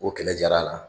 O kɛlɛ jara a la